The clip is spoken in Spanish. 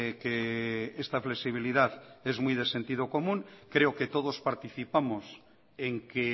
que esta flexibilidad es muy de sentido común creo que todos participamos en que